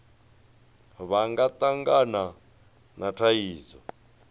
vha nga tangana na thaidzo